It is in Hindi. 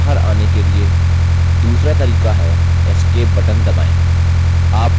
बाहर आने के लिए दूसरा तरीका है escape button दबाएँ